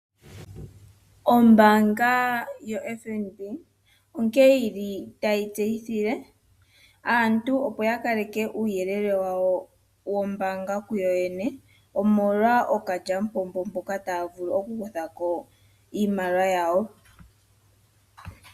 Ombaanga yoFNB onkee yili tayi tseyithile aantu opo ya kaleke uuyelele wawo wombaanga kuyo yene omolwa ookalyamupombo mboka taya vulu okukutha ko iimaliwa yawo.